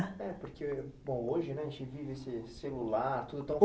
É, porque, bom, hoje, né, a gente vive celular